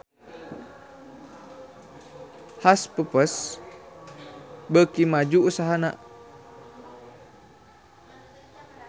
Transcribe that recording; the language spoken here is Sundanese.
Hush Puppies beuki maju usahana